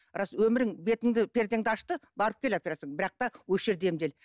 рас өмірің бетіңді пердеңді ашты барып кел операцияңа бірақ та осы жерде емдел